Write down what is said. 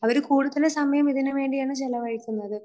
അവര് കൂടുതൽ സമയം ഇതിനു വേണ്ടിയാണ് ചെലവഴിക്കുന്നത്.